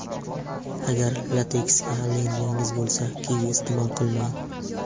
Agar lateksga allergiyangiz bo‘lsa, kivi iste’mol qilmang.